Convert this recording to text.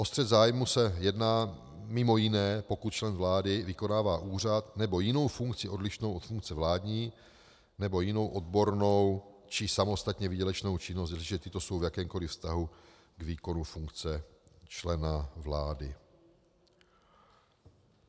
O střet zájmů se jedná mimo jiné, pokud člen vlády vykonává úřad nebo jinou funkci odlišnou od funkce vládní nebo jinou odbornou či samostatně výdělečnou činnost, jestliže tyto jsou v jakémkoli vztahu k výkonu funkce člena vlády.